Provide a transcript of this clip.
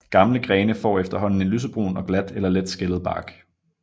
Gamle grene får efterhånden en lysebrun og glat eller let skællet bark